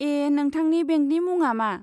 ए, नोंथांनि बेंकनि मुङा मा?